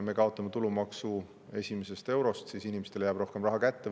Me kaotame tulumaksu esimesest eurost – inimestele jääb rohkem raha kätte.